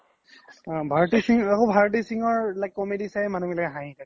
ভাৰ্তি সিন্ঘ আকৌ ভাৰ্তি সিন্ঘৰ comedy বিলাক চাইয়ে মানুহ বোলাকে হহি থাকে